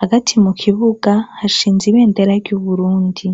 hagati mu kibuga hashinze ibendera ry'uburundi.